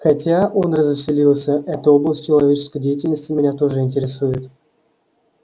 хотя он развеселился эта область человеческой деятельности меня тоже интересует